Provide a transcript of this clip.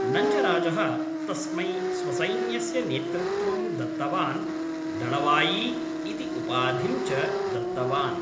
नञ्जराजः तस्मै स्वसैन्यस्य नेतृत्त्वं दत्तवान्, दळवायी इति उपाधिं च दत्तवान्।